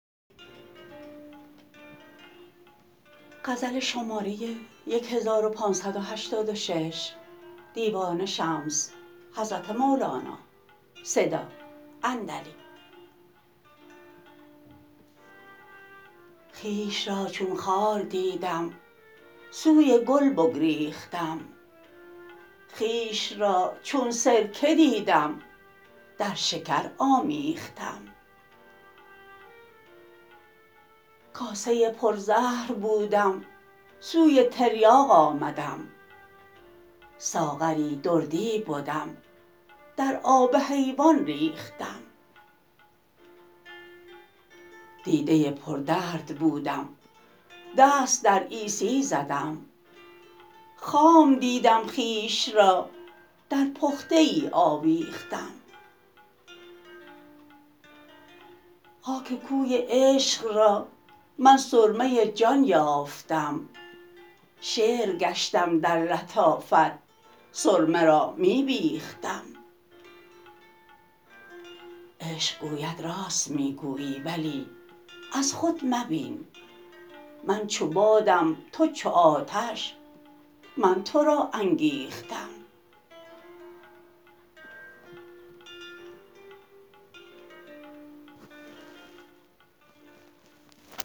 خویش را چون خار دیدم سوی گل بگریختم خویش را چون سرکه دیدم در شکر آمیختم کاسه پرزهر بودم سوی تریاق آمدم ساغری دردی بدم در آب حیوان ریختم دیده پردرد بودم دست در عیسی زدم خام دیدم خویش را در پخته ای آویختم خاک کوی عشق را من سرمه جان یافتم شعر گشتم در لطافت سرمه را می بیختم عشق گوید راست می گویی ولی از خود مبین من چو بادم تو چو آتش من تو را انگیختم